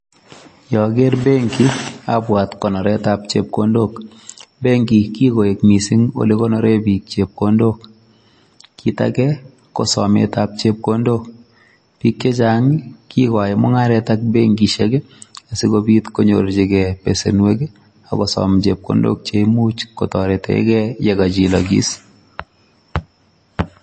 Yeaker benki[sc] abwat konoretap chepkondok. Benki kikoek mising olekonore biik chepkondok. Kit ake ko sometap chepkondok. Biik chechang kikoai mung'aret ak benkishek asikobit konyorchigei besenwek akosom chepkondok cheimuch kotoretegei yekachilokis.